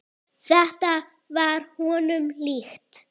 Þetta var honum líkt.